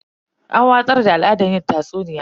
An watsar da al'adar yin tatsuniya.